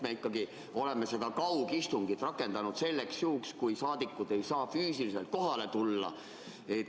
Me oleme seda kaugistungit rakendanud ikkagi selliseks juhuks, kui saadikud ei saa füüsiliselt kohale tulla.